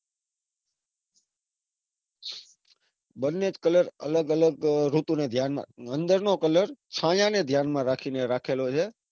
બન્ને જ colour અલગ અલગ ઋતુને ધ્યાન માં મંદિર નો colour છાયાને ધ્યાન માં રાખીને રાખેલો છે.